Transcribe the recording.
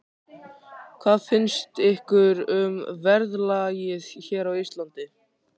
Höskuldur: Hvað finnst ykkur um verðlagið hér á Íslandi?